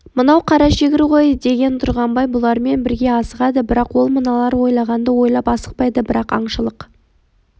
мынау қарашегір ғой деген тұрғанбай бұлармен бірге асығады бірақ ол мыналар ойлағанды ойлап асықпайды бірақ аңшылық